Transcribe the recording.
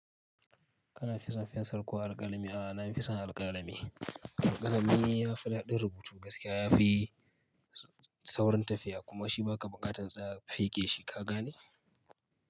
Kana fi son fensar ko alƙalami? A'a, na fi son alƙalami. Alƙalami ya fi daɗin rubutu gaskiya ya fi saurin tafiya kuma shi ba ka buƙatar tsaya feƙe shi ka gane.